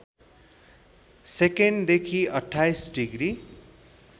सेकेन्डदेखि २८ degree